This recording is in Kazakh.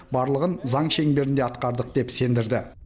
барлығын заң шеңберінде атқардық деп сендірді